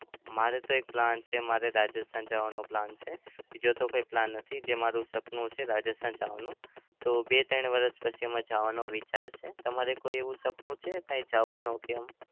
મારે તો એક plan છે. મારે તો રાજસ્થાન જવાનો plan છે. બીજો તો કોઈ plan નથી. જે મારું સપનું છે રાજસ્થાન જવાનું. તો બે-ત્રણ વર્ષ પછી અમે જવાનો વિચાર છે. તમારે કોઈ એવું સપનું છે કઈ જવાનું કે એમ?